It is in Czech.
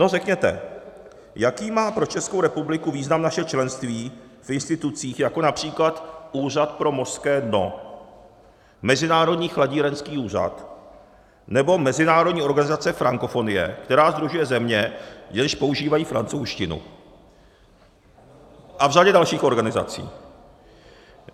No řekněte, jaký má pro Českou republiku význam naše členství v institucích, jako například Úřad pro mořské dno, Mezinárodní chladírenský úřad nebo Mezinárodní organizace frankofonie, která sdružuje země, jež používají francouzštinu, a v řadě dalších organizací.